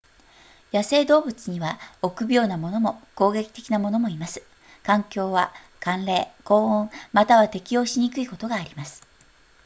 野生動物には臆病なものも攻撃的なものもいます環境は寒冷高温または適応しにくいことがあります